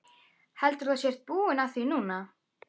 Heldurðu að þú sért þá búinn að því núna?